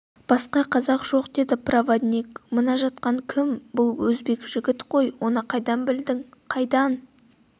басқа қазақ жоқ деді проводник мына жатқан кім бұл өзбек жігіт ғой оны қайдан білдің қайда